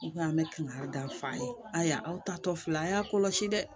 U ko an bɛ kankari da f'a ye ayiwa aw ta tɔ fila a y'a kɔlɔsi dɛ